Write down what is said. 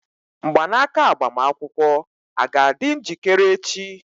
Mgbanaka agbamakwụkwọ a ga-adị njikere echi?